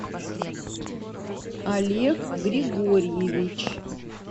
олег григорьевич